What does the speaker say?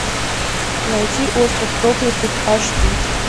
найти остров проклятых аш ди